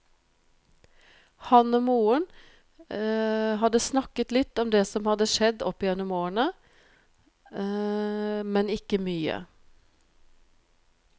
Han og moren hadde snakket litt om det som hadde skjedd opp gjennom årene, men ikke mye.